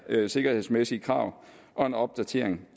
sikkerhedsmæssige krav og en opdatering